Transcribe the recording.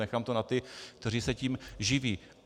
Nechám to na těch, kteří se tím živí.